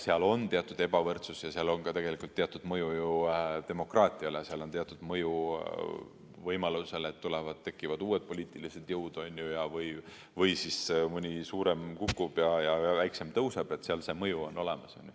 Seal on teatud ebavõrdsus ja seal on ka tegelikult teatud mõju demokraatiale, seal on teatud mõju võimalusele, et tekivad uued poliitilised jõud või mõni suurem kukub ja väiksem tõuseb – see mõju on olemas.